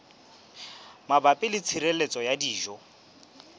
mabapi le tshireletso ya dijo